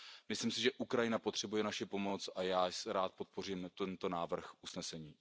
Myslím si, že Ukrajina potřebuje naši pomoc a já rád podpořím tento návrh usnesení.